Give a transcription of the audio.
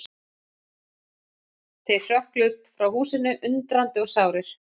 Þeir hrökkluðust frá húsinu, undrandi og sárir.